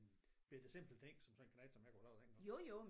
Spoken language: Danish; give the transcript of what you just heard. En bette simpel ting som sådan en knægt som jeg kunne lave dengang